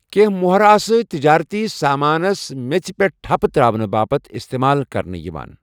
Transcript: کینٛہہ موہَرٕ آسَہٕ تجٲرتی سامانَس میژِ پٮ۪ٹھ ٹھپہٕ تر٘اونہٕ باپت اِستعمال كرنہٕ یوان ۔